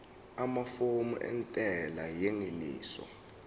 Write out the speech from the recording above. amafomu entela yengeniso